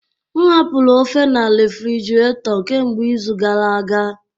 M hapụrụ ofe na refrjiraeto kemgbe izu gara aga